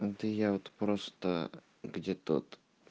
да я вот просто где тот